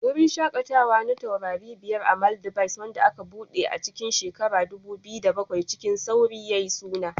Wurin shakatawa na taurari biyar a Maldives, wanda aka buɗe a cikin 2007, cikin sauri yayi suna